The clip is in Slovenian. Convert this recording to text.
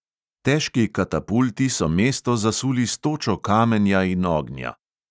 Težki katapulti so mesto zasuli s točo kamenja in ognja.